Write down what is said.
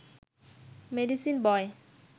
medicine বয়